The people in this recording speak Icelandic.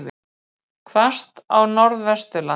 Hvasst á Norðvesturlandi